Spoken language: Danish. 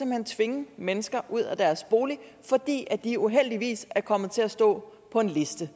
hen tvinge mennesker ud af deres bolig fordi de uheldigvis er kommet til at stå på en liste